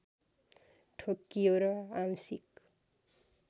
ठोक्कियो र आंशिक